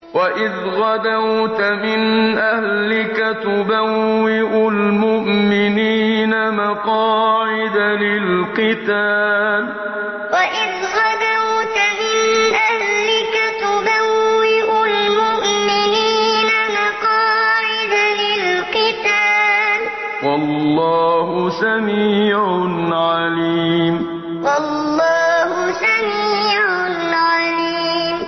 وَإِذْ غَدَوْتَ مِنْ أَهْلِكَ تُبَوِّئُ الْمُؤْمِنِينَ مَقَاعِدَ لِلْقِتَالِ ۗ وَاللَّهُ سَمِيعٌ عَلِيمٌ وَإِذْ غَدَوْتَ مِنْ أَهْلِكَ تُبَوِّئُ الْمُؤْمِنِينَ مَقَاعِدَ لِلْقِتَالِ ۗ وَاللَّهُ سَمِيعٌ عَلِيمٌ